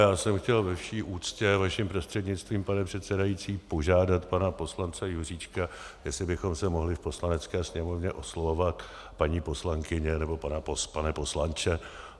Já jsem chtěl ve vší úctě vaším prostřednictvím, pane předsedající, požádat pana poslance Juříčka, jestli bychom se mohli v Poslanecké sněmovně oslovovat paní poslankyně nebo pane poslanče.